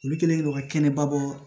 Olu kɛlen don ka kɛnɛbabɔ